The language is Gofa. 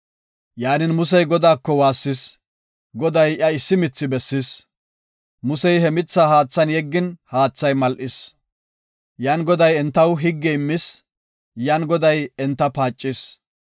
Yaanin, Musey Godaako waassis; Goday iya issi mithi bessis. Musey he mitha haathan yeggin haathay mal7is. Yan Goday entaw higge immis; yan Goday enta paacis.